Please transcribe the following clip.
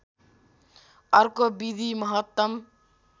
अर्को विधि महत्तम